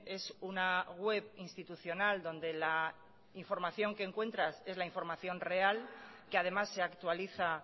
es una web institucional donde la información que encuentras es la información real que además se actualiza